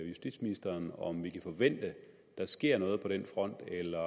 justitsministeren om vi kan forvente at der sker noget på den front eller